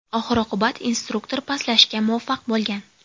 Oxir-oqibat instruktor pastlashga muvaffaq bo‘lgan.